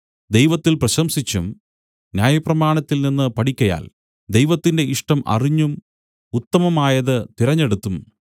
ദൈവത്തിൽ പ്രശംസിച്ചും ന്യായപ്രമാണത്തിൽ നിന്നു പഠിക്കയാൽ ദൈവത്തിന്റെ ഇഷ്ടം അറിഞ്ഞും ഉത്തമമായത് തിരഞ്ഞെടുത്തും